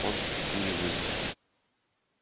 он и пулей вылетел